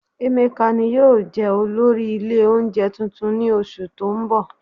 Emeka ni yóò jẹ́ olórí ilé oúnjẹ tuntun ní oṣù tó ń bọ̀